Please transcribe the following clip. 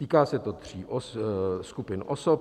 Týká se to tří skupin osob.